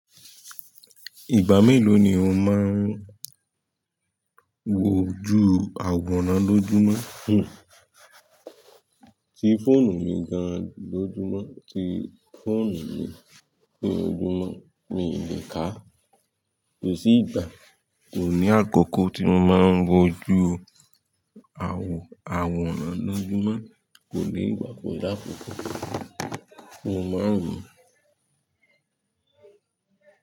Ìgbà mélòó ni o máa ń wojú àwòrán lójúmọ́? Ti fóònù mi gan lójúmọ́, ti fóònù mi ni ojúmọ́ mi i lè ká. Kò sí ìgbà, kò ní àkókò tí mo máa ń wojú àwò, àwòrán lójúmọ́. Kò ni igba, kò làkókò mo máa ń wò.